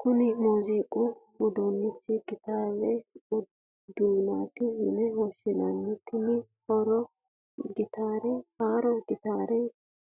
Kunni muuzziquu uduunicho gitaarete duunotti yine woshinna, tene haaro gittare